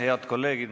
Head kolleegid!